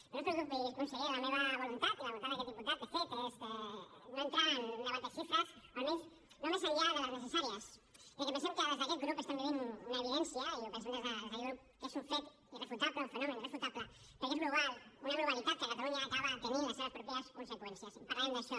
però no es preocupi conseller la meva voluntat i la voluntat d’aquest diputat de fet és no entrar en un debat de xifres o almenys no més enllà de les necessàries ja que pensem que des d’aquest grup estem vivint una evidència i pensem des d’aquest grup que és un fet irrefutable un fenomen irrefutable perquè és global una globalitat que a catalunya acaba tenint les seves pròpies conseqüències en parlarem d’això